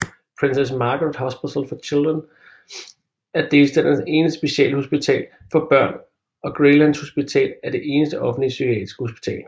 Princess Margaret Hospital for Children er delstatens eneste specialhospital for børn og Graylands Hospital er det eneste offentlige psykiatriske hospital